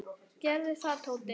Gerðu það, Tóti.